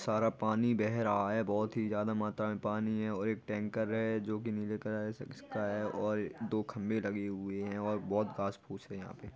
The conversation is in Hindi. सारा पानी बेह रहा है बहुत ही ज्यादा मात्रा में पानी है एक टैंकर हैं जो की नीले कलर से का हैं और दो खंबे लगे हुए हैं और बहोत घास फूस हैं यहां पे।